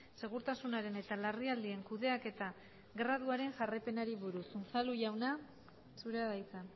segurtasunaren eta larrialdien kudeaketa graduaren jarraipenari buruz unzalu jauna zurea da hitza